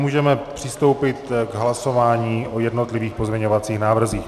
Můžeme přistoupit k hlasování o jednotlivých pozměňovacích návrzích.